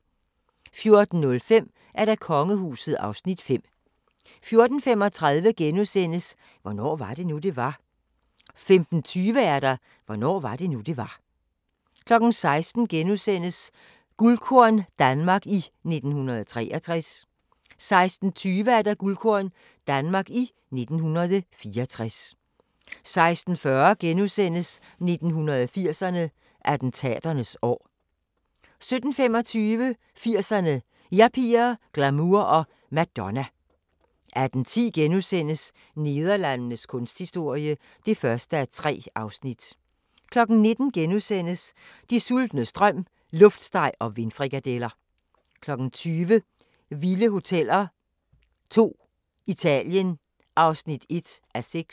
14:05: Kongehuset (Afs. 5) 14:35: Hvornår var det nu, det var? * 15:20: Hvornår var det nu, det var? 16:00: Guldkorn - Danmark i 1963 * 16:20: Guldkorn - Danmark i 1964 16:40: 80'erne: Attentaternes år * 17:25: 80'erne: Yuppier, glamour og Madonna 18:10: Nederlandenes kunsthistorie (1:3)* 19:00: Den sultnes drøm: luftsteg og vindfrikadeller * 20:00: Vilde hoteller 2: Italien (1:6)